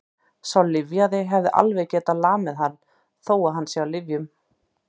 Sá lyfjaði hefði alveg getað lamið hann, þó að hann sé á lyfjum.